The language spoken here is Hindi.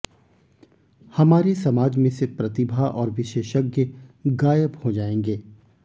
हमारे समाज में से प्रतिभा और विशेषज्ञ गायब हो जाएंगे